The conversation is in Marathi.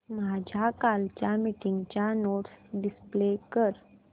माझ्या कालच्या मीटिंगच्या नोट्स डिस्प्ले कर